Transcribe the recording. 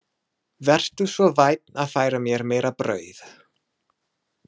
Vertu svo vænn að færa mér meira brauð